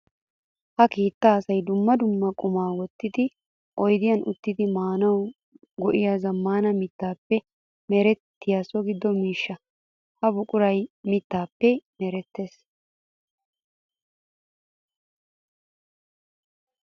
Ha keettay asay dumma dumma quma wottiddi oyddiyan uttiddi maanawu go'iya zamaana mittappe meretiya so gido miishsha. Ha buquray mittappe merettees.